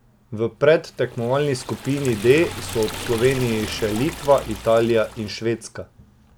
V predtekmovalni skupini D so ob Sloveniji še Litva, Italija in Švedska.